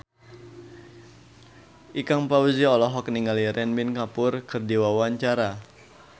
Ikang Fawzi olohok ningali Ranbir Kapoor keur diwawancara